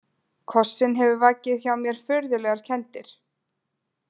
Kossinn hefur vakið hjá mér furðulegar kenndir.